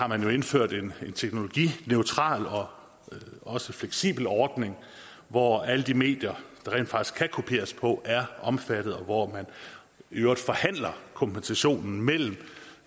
man har indført en teknologineutral og også fleksibel ordning hvor alle de medier der rent faktisk kan kopieres på er omfattet og hvor man i øvrigt forhandler kompensationen mellem